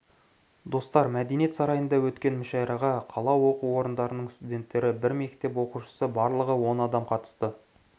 достар мәдениет сарайында өткен мүшәйраға қала оқу орындарының студенттері бір мектеп оқушысы барлығы он адам қатысты